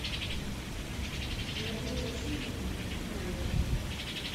мария васильевна бикмаева